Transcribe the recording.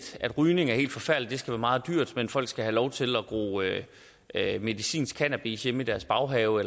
rygning er helt forfærdeligt og skal være meget dyrt men folk skal have lov til at medicinsk cannabis hjemme i deres baghave